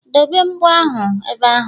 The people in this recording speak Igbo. Dobee mbo ahụ ebe ahụ